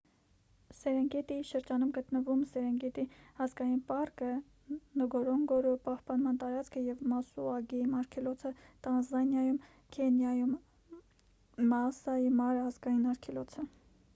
սերենգետիի շրջանում է գտնվում սերենգետի ազգային պարկը նգորոնգորո պահպանման տարածքը և մասուա գեյմ արգելոցը տանզանիայում և քենիայում մաասայի մարա ազգային արգելոցը